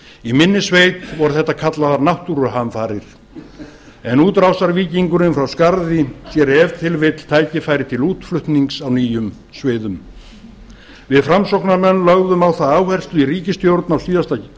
í minni sveit voru þetta kallaðar náttúruhamfarir en útrásarvíkingurinn frá skarði sér ef til vill tækifæri til útflutnings á nýjum sviðum við framsóknarmenn lögðum á það áherslu í ríkisstjórn á síðustu